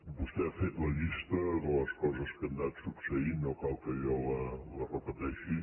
vostè ha fet la llista de les coses que han anat succeint no cal que jo la repeteixi